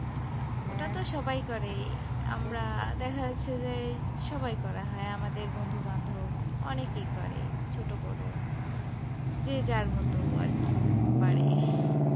সবাই করে, আমরা দেখা যাচ্ছে যে সবাই করা হয় আমাদের বন্ধু বান্ধব অনেকেই করে ছোটো বড়ো যে যার মত আরকি পারে।